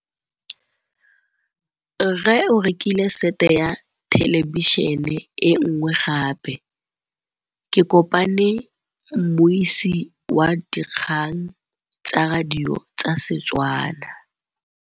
Rre o rekile sete ya thêlêbišênê e nngwe gape. Ke kopane mmuisi w dikgang tsa radio tsa Setswana.